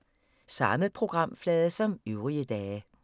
Samme programflade som øvrige dage